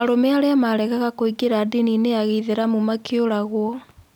Arũme aria maregaga kũingĩra ndiniinĩ ya gĩithĩramu makĩũragũo.